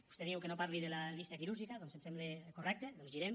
vostè diu que no parli de la llista quirúrgica doncs em sembla correcte girem